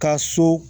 Ka so